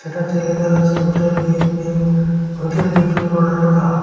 তাতে লেখা রয়েছে hotel gate new hotel gateway Karnataka.